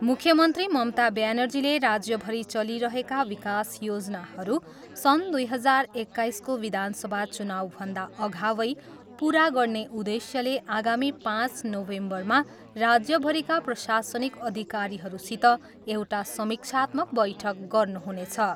मुख्यमन्त्री ममता ब्यानर्जीले राज्यभरि चलिरहेका विकास योजनाहरू सन् दुई हजार एक्काइसको विधानसभा चुनाउभन्दा अगवै पुरा गर्ने उद्देश्यले आगामी पाँच नोभेम्बरमा राज्यभरिका प्रशासनिक अधिकारीहरूसित एउटा समीक्षात्मक बैठक गर्नुहुनेछ।